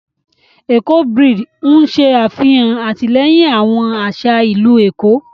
Éko braid n ṣe afihan atilẹyin awón aṣa ilu Eko.